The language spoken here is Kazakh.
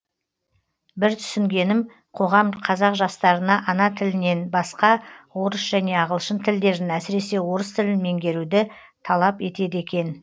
бір түсінгенім қоғам қазақ жастарына ана тілінен басқа орыс және ағылшын тілдерін әсіресе орыс тілін меңгеруді талап етеді екен